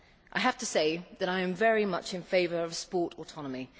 I have to say that I am very much in favour of sport autonomy.